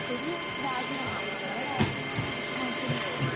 ഒരു രാജ്യം നമ്മുടെ രാജ്യം തന്നെ എടുത്തുനോക്കിയാ എനിക്ക് തോന്നുന്നു